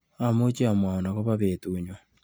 Amuchi amwaun akobo betunyu?